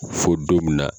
Fo don min na